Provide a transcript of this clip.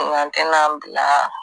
Nka n tɛna n bila